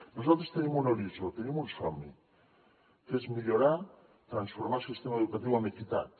nosaltres tenim un horitzó tenim un somni que és millorar transformar el sistema educatiu amb equitat